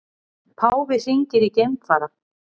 Páfi hringir í geimfara